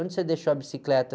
Onde você deixou a bicicleta?